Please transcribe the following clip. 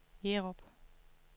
Jerup